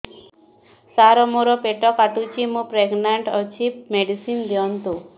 ସାର ମୋର ପେଟ କାଟୁଚି ମୁ ପ୍ରେଗନାଂଟ ଅଛି ମେଡିସିନ ଦିଅନ୍ତୁ